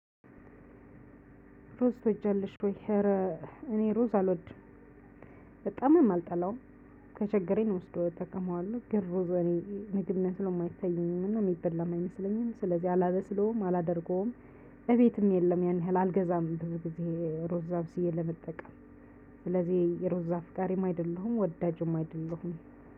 ሩዝ ትወጃለሽ ወይ? ኧረ እኔ ሩዝ አልወድም በጣምም አልጠላውም ከቸገረኝ ወስደዋለው እጠቀመዋለሁ ግን ሩዝ ለኔ ምግብ መስሎም አይታየኝም እና የሚበላም አይመስለኝም ስለዚህ አላበስለውም አላደርገውም እቤትም የለም ያን ያህል አልገዛም ብዙ ጊዜ ሩዝ አብስዬ ለመጠቀም ስለዚህ የሩዝ አፍቃሪም አይደለሁም ወዳጅም አይደለሁም